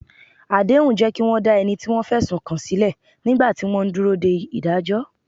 Àdéhùn jẹ́ kí wọ́n dá ẹni tí wọ́n fẹ̀sùn kàn sílẹ̀ nígbà tí wọ́n ń dúró de ìdájọ́.